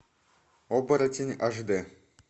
оборотень аш дэ